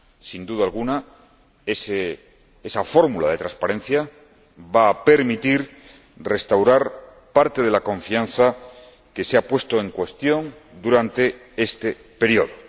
Sin duda alguna esa fórmula de transparencia va a permitir restaurar parte de la confianza que se ha puesto en cuestión durante este período.